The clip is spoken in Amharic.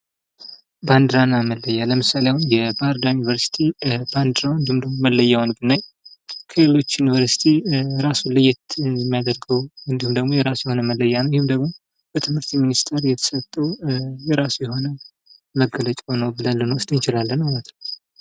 ባንዲራ እና መለያ ።ለምሳሌ አሁን የባህርዳር ዩኒቨርሲቲ ባንዲራውን እንዲሁም ደግሞ መለያውን ብናይ ከሌሎች ዩኒቨርሲቲ ራሱን ለየት ሚያደርገው እንዲሁም ደግሞ የራሱ የሆነ መለያ ነው ። ይህም ደግሞ በትምህርት ሚኒስቴር የተሰጠው የራሱ የሆነ መገለጫው ነው ብለን ልንወስድ እንችላለን ማለት ነው ።